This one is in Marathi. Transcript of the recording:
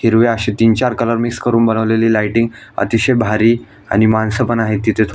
हिरवे असे तीन चार मिक्स करून बनवलेली लायटिंग अतिशय भारी आणि माणसं पण आहे तिथं--